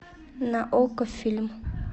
на окко фильм